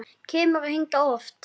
Kemurðu hingað oft?